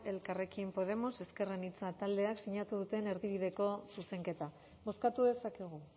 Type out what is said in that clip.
elkarrekin podemos ezker anitza taldeak sinatu duten erdibideko zuzenketa bozkatu dezakegu